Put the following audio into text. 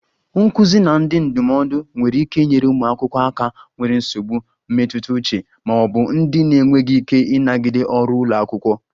Nduzi na ndị ndụmọdụ nwere ike inyere ụmụ akwụkwọ aka nwere nsogbu mmetụta uche ma ọ bụ ndị na-enweghị ike ịnagide ọrụ ụlọ akwụkwọ